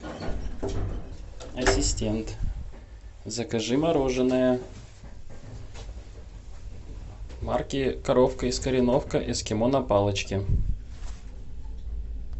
ассистент закажи мороженое марки коровка из кореновки эскимо на палочке